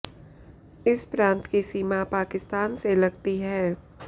इस प्रांत की सीमा पाकिस्तान से लगती है